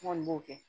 N kɔni b'o kɛ